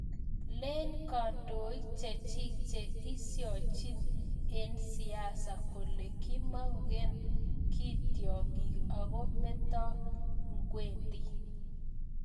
Len kandoik chechik che eshojin eng siasa kole kimgomagee ki tiongik ako meto ngwendii.